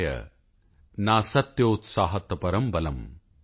ਉਤਸਾਹੋ ਬਲਵਾਨਾਰਯ ਨਾਸਤਿਉਤਸਾਹਾਤਪਰੰ ਬਲਮ